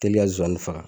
Teli ka nsonsani faga